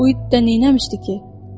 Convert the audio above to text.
Uy didə neynəmişdi ki?